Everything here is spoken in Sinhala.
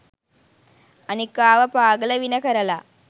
අනිකාව පාගල වින කරලා